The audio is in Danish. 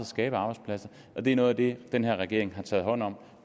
skabe arbejdspladser og det er noget af det den her regering har taget hånd om